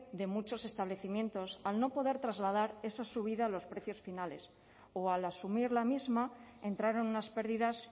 de muchos establecimientos al no poder trasladar esa subida a los precios finales o al asumir la misma entraron unas pérdidas